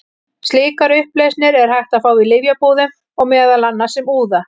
Slíkar upplausnir er hægt að fá í lyfjabúðum, meðal annars sem úða.